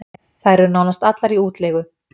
Þær eru nánast allar í útleigu